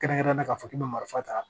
Kɛrɛnkɛrɛnnenya ka fɔ k'i bɛ marifa ta